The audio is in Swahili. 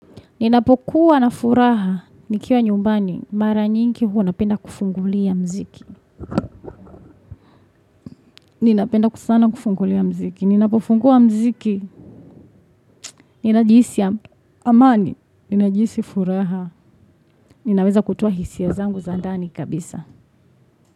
Ninapokuwa na furaha nikiwa nyumbani. Mara nyingi huwa napenda kufungulia mziki. Ninapenda kusana kufungulia mziki. Ninapofungua mziki. Ninajihisi ya amani. Ninajihisi furaha. Ninaweza kutoa hisia zangu za ndani kabisa.